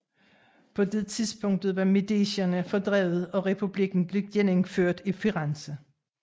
På det tidspunkt var Medicierne fordrevet og republikken genindført i Firenze